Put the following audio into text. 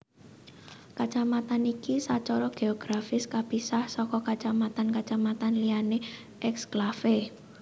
Kacamatan iki sacara geografis kapisah saka kacamatan kacamatan liyané eksklave